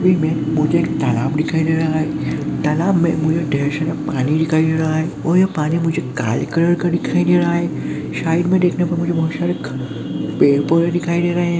ए में मुझे एक तालाब दिखाई दे रहा है। तालाब में मुझे ढेर सारा पानी दिखाई दे रहा है। और पानी में मुझे कल कलर का दिखाई दे रहा है। साइड में देखने को मुझे बहुत सारे पेड़ पौधे दिखाई दे रहे हैं ।